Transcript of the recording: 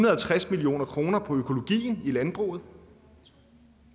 og halvtreds million kroner på økologien i landbruget